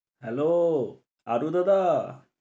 Hello Adu দাদা।